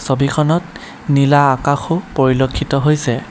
ছবিখনত নীলা আকাশো পৰিলক্ষিত হৈছে।